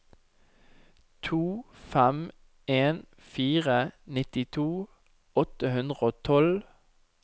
to fem en fire nittito åtte hundre og tolv